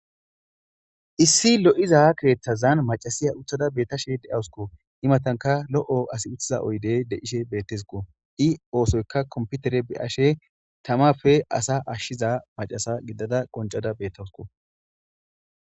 Issi loiza keththani maccashshiya uttada deashe deawusikko Ii matanikka uttikko loiza oyiddeyi loiza keeththazani maccashiya uttada beettashshe deawusikko Ii matanikka ASI uttiza oyideyi deishe betesikko ii oosoyikka komipitere beashse tammappe asa ashiza maccasa gidada deashe qonccada beettawusikko